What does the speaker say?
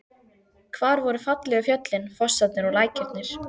Hvar voru fallegu fjöllin, fossarnir og lækirnir?